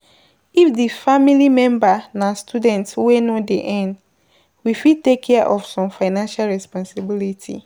if di family member na student wey no dey earn, we fit take care of some financial responsibility